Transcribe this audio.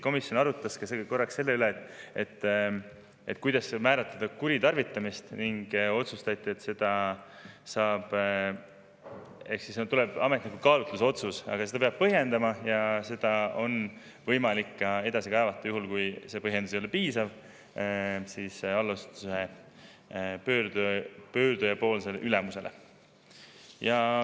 Komisjon arutas korraks selle üle, kuidas määratleda kuritarvitamist, ning otsustati, et ametnik kaalutlusotsuse, aga seda peab põhjendama ja seda on võimalik edasi kaevata, juhul kui põhjendus ei ole piisav, allasutuse ülemusele.